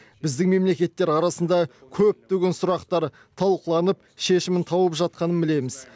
біздің мемлекеттер арасында көптеген сұрақтар талқыланып шешімін тауып жатқанын білеміз